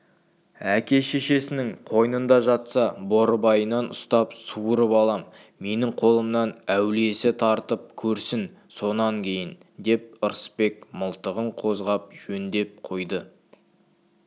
әке-шешесінің қойнында жатса борбайынан ұстап суырып алам менің қолымнан әулиесі тартып көрсін сонан кейін деп ырысбек мылтығын қозғап жөндеп қойды